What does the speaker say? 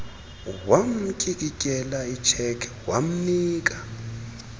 wamtyikityela icheque wamnika